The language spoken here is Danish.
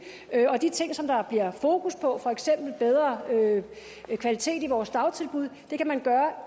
og de ting som der bliver fokus på for eksempel bedre kvalitet i vores dagtilbud kan man